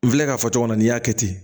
N filɛ ka fɔ cogo min na n'i y'a kɛ ten